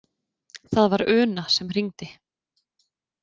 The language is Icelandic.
Það var Una sem hringdi.